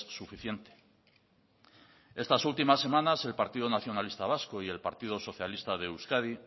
suficiente estas últimas semanas el partido nacionalista vasco y el partido socialista de euskadi